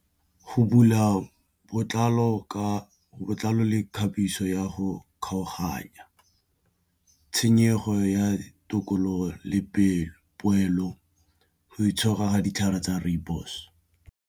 Go bula botlalo ka botlalo le mekgabiso ya go kgaoganya tshenyego ya tokololo le poelo go itshoka ditlhare tsa rooibos.